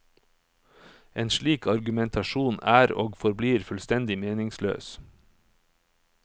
En slik argumentasjon er og forblir fullstendig meningsløs.